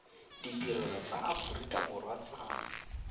ditirelo tsa aforika borwa tsa